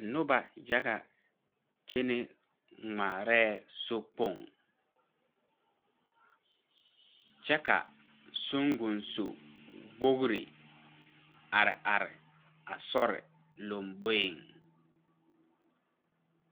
Nobɔ yaga kyenɛ ngmaarɛɛ sokpoŋ kyɛ ka suŋgosu wogre are are a sore lomboeŋ.